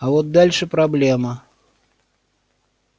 а вот дальше проблема